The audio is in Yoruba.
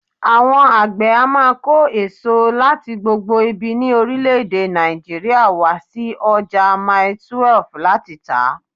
Àwọn àgbè á máa kó èso láti gbogbo ibi ní orílè èdè Nàìjíríà wá sí ọjà Mailí 12 láti tà.